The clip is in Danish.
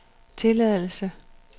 tilladelse